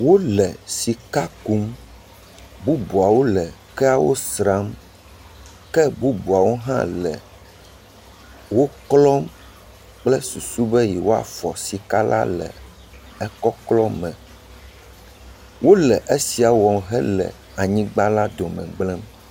Wole sika kum, bubuawo le keawo sram, ke bubuawo hã le wo klɔm kple susu be yewoafɔ sika la le ekɔklɔ me, wole esia wɔm hele anyigba la dome gblẽm..